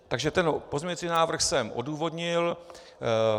Takže ten pozměňující návrh jsem odůvodnil.